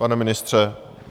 Pane ministře?